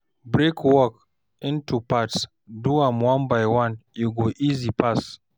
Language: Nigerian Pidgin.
Break work into parts, do am one by one, e go easy pass.